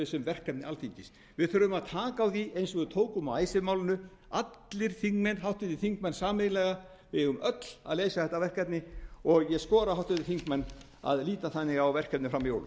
verkefni alþingis við þurfum að taka á því eins og við tókum á icesave málinu allir háttvirtir þingmenn sameiginlega við eigum öll að leysa þetta verkefni og ég skora á háttvirtu þingmenn að líta þannig á verkefnið fram að jólum